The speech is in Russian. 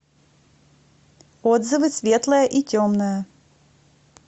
отзывы светлое и темное